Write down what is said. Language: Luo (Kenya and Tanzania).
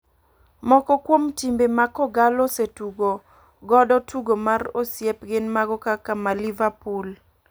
Moko kuom timbe ma kogallo osetugo godo tugo mar osiep gin mago kaka ma liverpool .